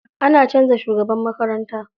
An canza shugaban makaranta.